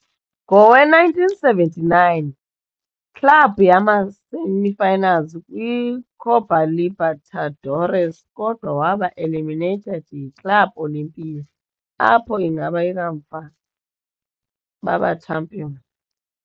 Ngowe-1979, club yaba semi-finalist kwi - Copa Libertadores, kodwa waba eliminated yi - Club Olimpia, apho ingaba kamva baba champion.